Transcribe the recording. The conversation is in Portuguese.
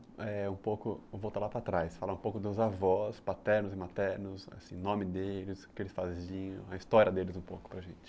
Eh, um pouco... Vamos voltar lá para trás, falar um pouco dos avós, paternos e maternos, o nome deles, o que eles faziam, a história deles um pouco para a gente.